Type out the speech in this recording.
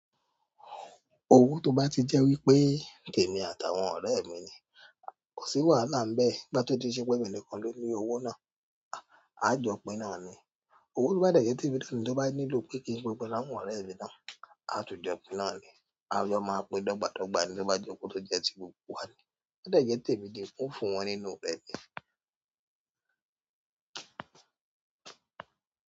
Owó tó bá ti jẹ́ wípé tèmi àtàwọn ọ̀rẹ́ mi ni kò sí wàhálà níbẹ̀, ni ìgbà tó di pé ṣe pẹ̀mí nìkan ló ní owó náà, a jọ pín náà ni. Owó tó bá jẹ́ ti ibi tí ẹni tó bá nílò kí í pín pẹ́mpẹ́ láwọn ọ̀rẹ́ ẹ ní náà, a tún jọ pín náà ni. A jọ máa pín dọ́gba dọ́gba ní bá jẹ́ ohun tó jẹ́ ti gbogbo wa ni. Bó dẹ̀ jẹ́ tèmi gan mi ó fún wọn nínú ibẹ̀ ni.